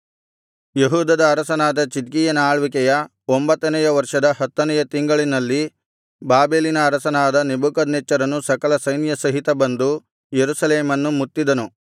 ಯೆಹೂದದ ಅರಸನಾದ ಚಿದ್ಕೀಯನ ಆಳ್ವಿಕೆಯ ಒಂಭತ್ತನೆಯ ವರ್ಷದ ಹತ್ತನೆಯ ತಿಂಗಳಿನಲ್ಲಿ ಬಾಬೆಲಿನ ಅರಸನಾದ ನೆಬೂಕದ್ನೆಚ್ಚರನು ಸಕಲ ಸೈನ್ಯಸಹಿತ ಬಂದು ಯೆರೂಸಲೇಮನ್ನು ಮುತ್ತಿದನು